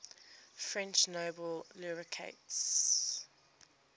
french nobel laureates